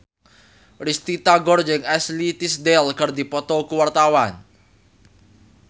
Risty Tagor jeung Ashley Tisdale keur dipoto ku wartawan